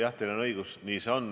Jah, teil on õigus, nii see on.